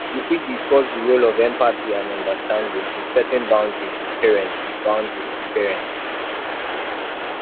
you fit discuss di role of empathy and understanding in setting boundaries with parents boundaries with parents